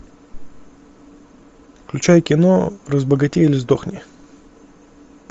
включай кино разбогатей или сдохни